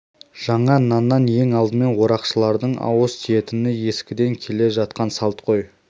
жаңа наннан ең алдымен орақшылардың ауыз тиетіні ескіден келе жатқан салт қой